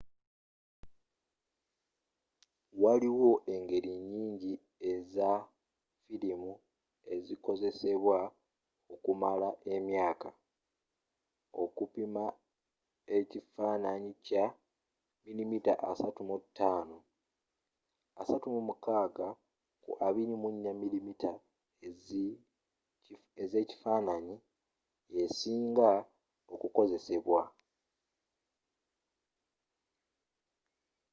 waliiwo engeri nnyingi eza firimu ezikozesebwa okumala emyaka. okupimamu ekifananyi kya 35mm 36 ku 24 mm ezekifananyi yesiinga okukozesebwa